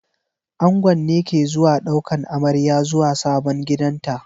Angon ne ke zuwa daukan amarya zuwa sabon gidanta.